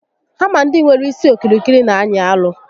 Hama ndị nwere isi okirikiri n'anyị arụ